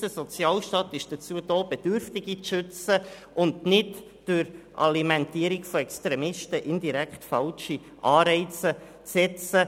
Unser Sozialstaat ist dazu da, Bedürftige zu schützen und nicht durch Alimentierung von Extremisten indirekt falsche Anreize zu setzen.